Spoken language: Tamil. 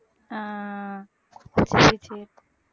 ஆஹ் சரி சரி